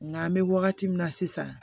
Nka an bɛ wagati min na sisan